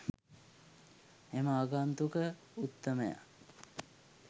එම ආගන්තුක උත්තමයා